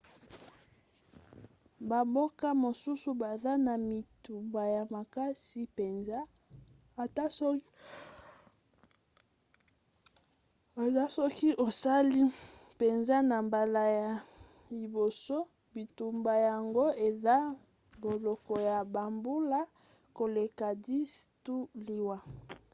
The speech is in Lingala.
bamboka mosusu baza na bitumba ya makasi mpenza ata soki osali mpenza na mbala ya liboso; bitumba yango eza boloko ya bambula koleka 10 to liwa